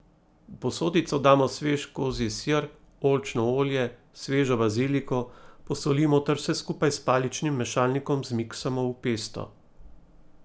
V posodico damo svež kozji sir, oljčno olje, svežo baziliko, posolimo ter vse skupaj s paličnim mešalnikom zmiksamo v pesto.